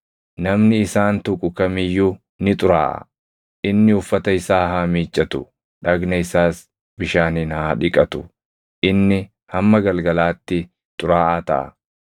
Namni isaan tuqu kam iyyuu ni xuraaʼa; inni uffata isaa haa miiccatu; dhagna isaas bishaaniin haa dhiqatu; inni hamma galgalaatti xuraaʼaa taʼa.